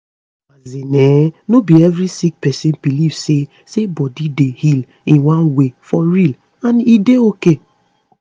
as in[um]no be every sick pesin believe say say body dey heal in one way for real and e dey ok